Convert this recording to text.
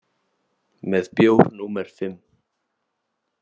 Með bjór númer fimm.